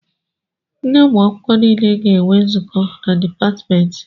Ndị ụmụ akwụkwọ nile ga-enwe nzukọ na dịpatmentị